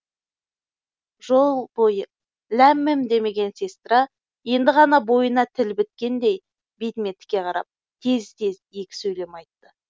жол бойы ләм мим демеген сестра енді ғана бойына тіл біткендей бетіме тіке қарап тез тез екі сөйлем айтты